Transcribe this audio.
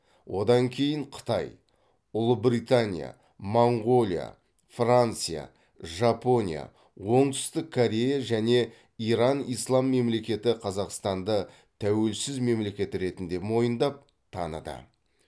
одан кейін қытай ұлыбритания моңғолия франция жапония оңтүстік корея және иран ислам мемлекеті қазақстанды тәуелсіз мемлекет ретінде мойындап таныды